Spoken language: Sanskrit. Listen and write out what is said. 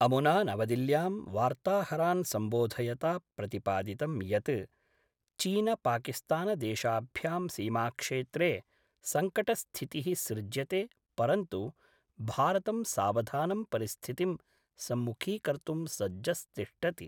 अमुना नवदिल्यां वार्ताहरान् सम्बोधयता प्रतिपादितं यत् चीनपाकिस्तानदेशाभ्यां सीमाक्षेत्रे संकटस्थितिः सृज्यते परन्तु भारतं सावधानं परिस्थितिं सम्मुखीकर्तुं सज्जस्तिष्ठति।